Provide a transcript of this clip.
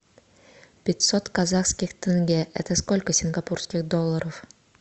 пятьсот казахских тенге это сколько сингапурских долларов